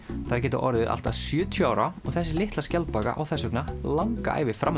þær geta orðið allt að sjötíu ára og þessi litla skjaldbaka á þess vegna langa ævi fram